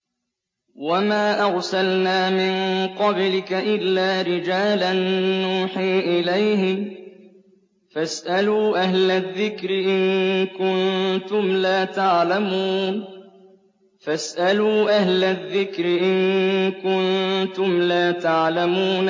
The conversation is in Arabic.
وَمَا أَرْسَلْنَا مِن قَبْلِكَ إِلَّا رِجَالًا نُّوحِي إِلَيْهِمْ ۚ فَاسْأَلُوا أَهْلَ الذِّكْرِ إِن كُنتُمْ لَا تَعْلَمُونَ